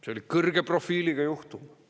See oli kõrge profiiliga juhtum.